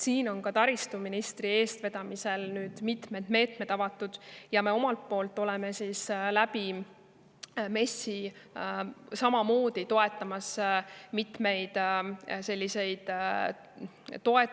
Nüüd on taristuministri eestvedamisel mitmed meetmed avatud ja me omalt poolt pakume MES-i kaudu samamoodi mitmeid selliseid toetusi.